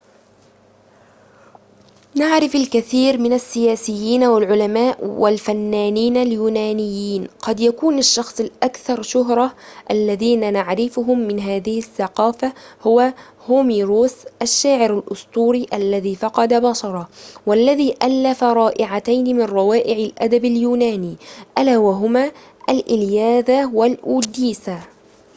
نعرف الكثير من السياسيين والعلماء والفنانين اليونانيين قد يكون الشخص الأكثر شهرة الذين نعرفهم من هذه الثقافة هو هوميروس الشاعر الأسطوري الذي فقد بصره والذي ألف رائعتين من روائع الأدب اليوناني ألا وهما الإلياذة والأوديسا